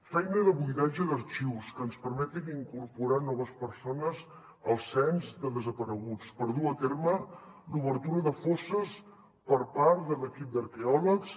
feina de buidatge d’arxius que ens permetin incorporar noves persones al cens de desapareguts per dur a terme l’obertura de fosses per part de l’equip d’arqueòlegs